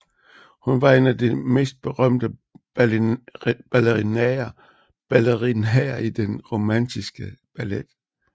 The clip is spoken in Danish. Hun var en af de mest berømte ballerinaer i den romantiske ballet